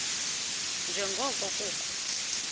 nje ngoko kukho